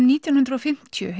nítján hundruð og fimmtíu